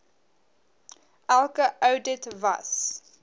elke oudit was